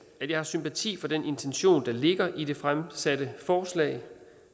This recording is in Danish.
at jeg har sympati for den intention der ligger i det fremsatte forslag